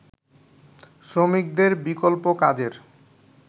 শ্রমিকদের বিকল্প কাজের